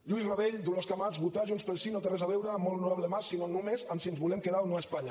lluís rabell dolors camats votar junts pel sí no té res a veure amb el molt honorable mas sinó només amb si ens volem quedar o no a espanya